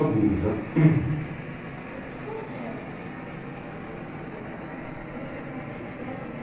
a burro, tá? Uhum. e como que eram essas casas assim? se você tivesse na frente delas...